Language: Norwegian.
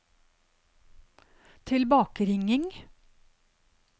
tilbakeringing